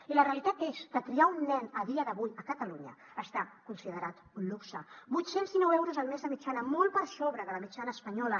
i la realitat és que criar un nen a dia d’avui a catalunya està considerat un luxe vuit cents i dinou euros al mes de mitjana molt per sobre de la mitjana espanyola